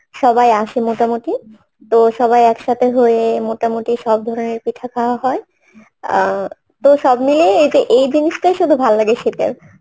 আছেন সবাই আসে মোটামুটি তো সবাই একসাথে হয়ে মোটামুটি সব ধরনের পিঠা খাওয়া হয় আহ তো সব মিলিয়ে এই যে এই জিনিসটাই শুধু ভাললাগে শীতের